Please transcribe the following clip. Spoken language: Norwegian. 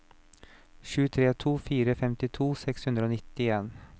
sju tre to fire femtito seks hundre og nittien